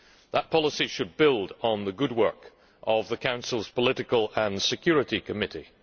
That policy should build on the good work of the Council's Political and Security Committee.